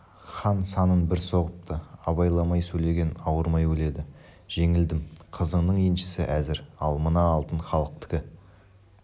хан санын бір соғыпты абайламай сөйлеген ауырмай өледі жеңілдім қызыңнан еншісі әзір ал мына алтын халықтікі